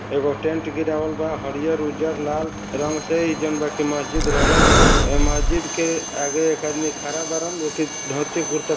एगो टेंट गिरवाल बा। हरियल उजल लाल रंग से ही मस्जिद रंगल वा यहाँ मस्जिद के आगे एक आदमी खड़ा बारन। धोती कुर्ता--